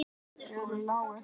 Fjórar lágu.